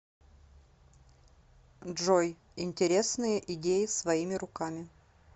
джой интересные идеи своими руками